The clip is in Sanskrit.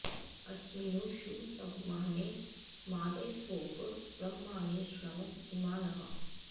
अ॒स्मिन्नू॒ षु सव॑ने मादय॒स्वोप॒ ब्रह्मा॑णि शृणव इ॒मा नः॑